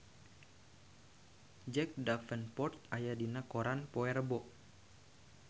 Jack Davenport aya dina koran poe Rebo